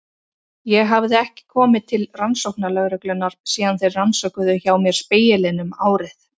Ég hafði ekki komið til rannsóknarlögreglunnar síðan þeir rannsökuðu hjá mér Spegilinn um árið.